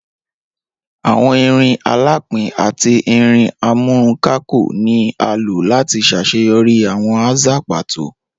Awọn irin alapin ati irin amúrunkákò ni a lo lati ṣaṣeyọri awọn aza pato.